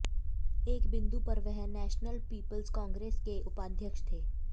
एक बिंदु पर वह नेशनल पीपुल्स कांग्रेस के उपाध्यक्ष थे